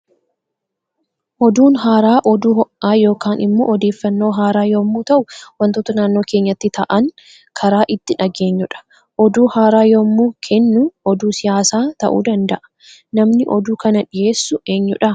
Oduun haaraa oduu ho'aa yookaan immoo odeeffannoo haara yommuu ta'u waantota naannoo keenyatti ta'an kara itti dhageenyudha. Oduu haara yommuu kennu oduu siyaasaa ta'uu danda'a. Namni oduu kana dhiyeessu eenyudha?